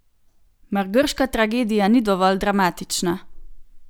Mar grška tragedija ni dovolj dramatična?